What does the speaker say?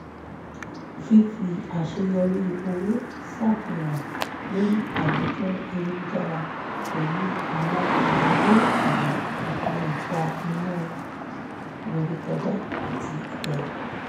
fífì àṣeyọrí owó ṣàfihàn lórí àwùjọ ayélujára pẹ̀lú àwọn ọ̀rẹ́ le ọ̀rẹ́ le fa inú-rerekója àti ìdẹra